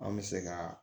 An bɛ se ka